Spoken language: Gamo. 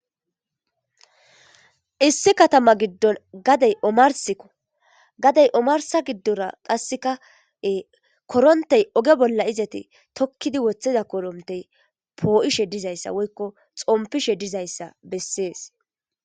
Issi katama gidon gadey omaris gadey omarisa gidora korontey tokizi wothiza korontey po'ishe dizayisa woyiko xopishe dizaysa beses